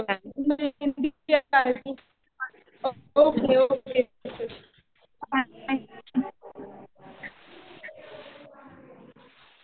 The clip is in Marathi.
Okay okay.